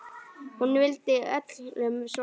Hún vildi öllum svo vel.